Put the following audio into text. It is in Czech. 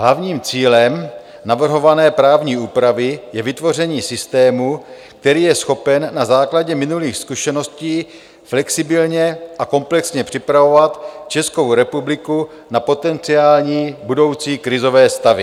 Hlavním cílem navrhované právní úpravy je vytvoření systému, který je schopen na základě minulých zkušeností flexibilně a komplexně připravovat Českou republiku na potenciální budoucí krizové stavy.